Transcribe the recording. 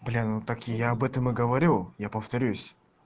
бля ну я так и я об этом и говорю я повторюсь